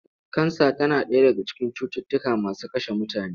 Kansa tana ɗaya daga cikin cututtuka masu kashe mutane.